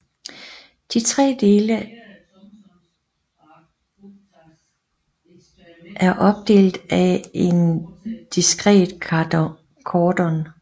De tre dele af opdelt af en diskret kordon